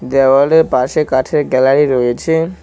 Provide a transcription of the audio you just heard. দেওয়ালে পাশে কাঠের গ্যালারি রয়েছে।